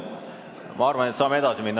Ma arvan, et me saame nüüd edasi minna.